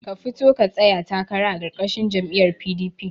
Ka fito ka tsaya takara a karkashin jam'iyar PDP